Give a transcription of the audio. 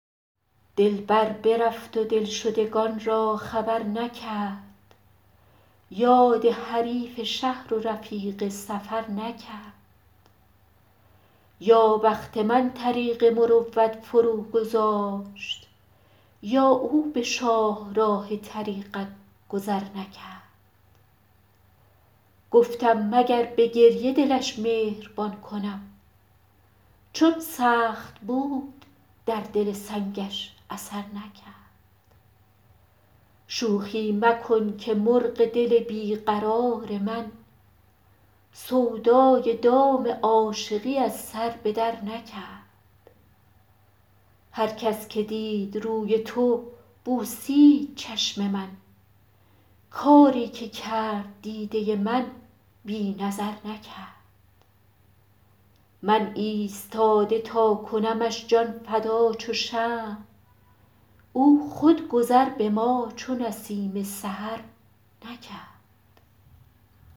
دلبر برفت و دلشدگان را خبر نکرد یاد حریف شهر و رفیق سفر نکرد یا بخت من طریق مروت فروگذاشت یا او به شاهراه طریقت گذر نکرد گفتم مگر به گریه دلش مهربان کنم چون سخت بود در دل سنگش اثر نکرد شوخی مکن که مرغ دل بی قرار من سودای دام عاشقی از سر به درنکرد هر کس که دید روی تو بوسید چشم من کاری که کرد دیده من بی نظر نکرد من ایستاده تا کنمش جان فدا چو شمع او خود گذر به ما چو نسیم سحر نکرد